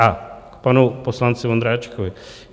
A k panu poslanci Vondráčkovi.